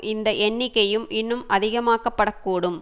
இந்த எண்ணிக்கையும் இன்னும் அதிகமாக்கப்படக்கூடும்